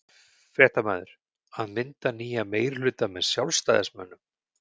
Fréttamaður:. að mynda nýjan meirihluta með Sjálfstæðismönnum?